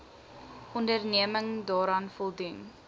onderneming daaraan voldoen